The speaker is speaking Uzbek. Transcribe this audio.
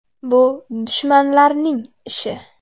Bu dushmanlarning ishi.